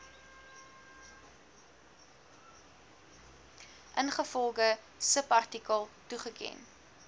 ingevolge subartikel toegeken